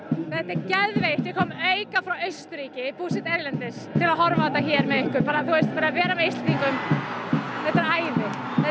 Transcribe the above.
þetta er geðveikt ég kom auka ferð frá Austurríki ég er búsett erlendis til að horfa á þetta hér með ykkur vera með Íslendingum þetta er æði